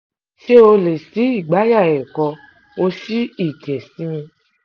ṣé o lè ṣí igbáàyà ẹ kó o sì igẹ̀ sí mi